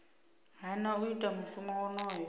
hana u ita mushumo wonoyo